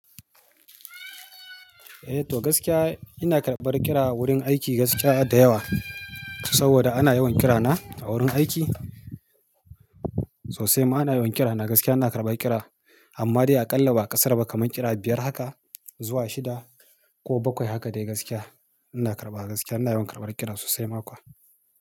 Eh to gaskiya ina karɓar kira wurin aiki gaskiya da yawa saboda ana yawan kirana a wurin aiki sosai ma ana yawan kirana gaskiya ina karɓar kira. Amma dai a ƙalla ba ƙasar ba kamar kira biyar haka zuwa shida ko bakwai haka dai gaskiya ina karɓa gaskiya ina yawan karɓar kira sosai mako.